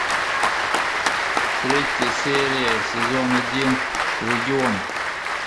третья серия сезон один легион